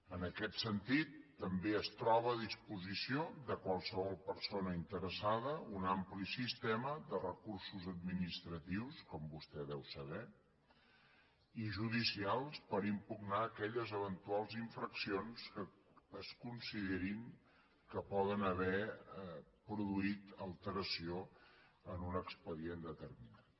en aquest sentit també es troba a disposició de qualsevol persona interessada un ampli sistema de recursos administratius com vostè deu saber i judicials per impugnar aquelles eventuals infraccions que es consideri que poden haver produït alteració en un expedient determinat